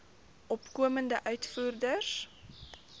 opkomende uitvoerders